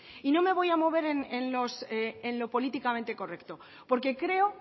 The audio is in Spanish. y no me voy a mover en lo políticamente correcto porque creo